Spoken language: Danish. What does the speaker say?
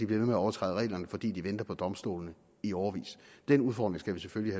ved med at overtræde reglerne fordi de venter på domstolene i årevis den udfordring skal vi selvfølgelig